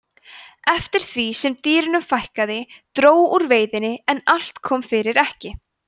eftir því sem dýrunum fækkaði dró úr veiðinni en allt kom fyrir ekki